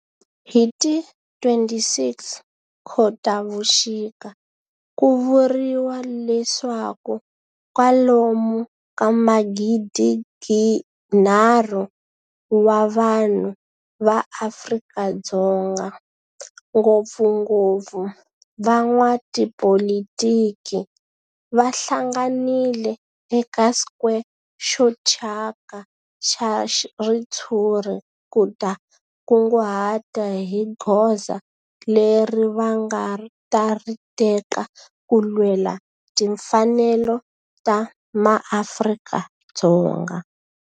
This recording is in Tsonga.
Hi ti 26 Khotavuxika ku vuriwa leswaku kwalomu ka magidi-nharhu wa vanhu va Afrika-Dzonga, ngopfungopfu van'watipolitiki va hlanganile eka square xo thyaka xa ritshuri ku ta kunguhata hi goza leri va nga ta ri teka ku lwela timfanelo ta maAfrika-Dzonga.